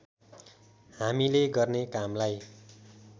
हामीले गर्ने कामलाई